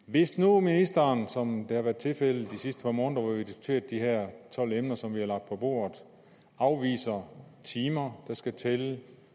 hvis nu ministeren som det har været tilfældet de sidste par måneder hvor vi har diskuteret de her tolv emner som vi har lagt på bordet afviser timer der skal tælle